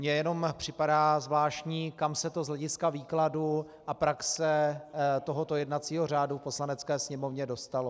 Mně jenom připadá zvláštní, kam se to z hlediska výkladu a praxe tohoto jednacího řádu v Poslanecké sněmovně dostalo.